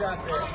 Odatda.